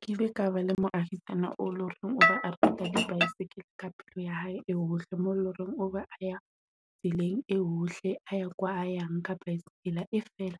Ke ile ka ba le moahisano o be a rata bicycle ka pelo ya hae yohle mo loreng obe a ya tseleng e ohle, a ya kwa a yang ka bicycle. E fela